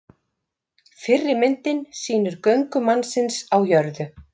fyrri myndin sýnir göngu mannsins á jörðu